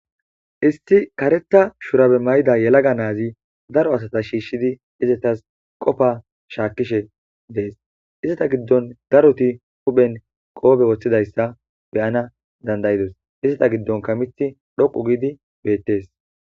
Isti karetha shurabe may'ida yelaga naazi daro asata shiishshidi izetas qofa shaakkishe dees izata giddon daroti huphen qoobe woththidayssa beyana dandayidos izata giddonka mithi dhoqu giidi beettees.